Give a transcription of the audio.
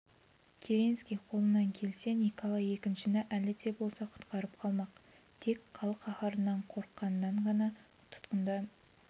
керенский қолынан келсе николай екіншіні әлі де болса құтқарып қалмақ тек халық қаһарынан қорыққаннан ғана тұтқында